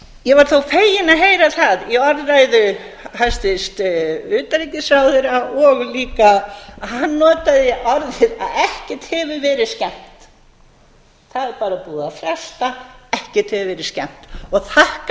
ég var þó fegin að heyra það í orðræðu hæstvirts utanríkisráðherra og líka að hann notaði orðið að ekkert hefur verið skemmt það er bara búið að fresta ekkert hefur verið skemmt og þakka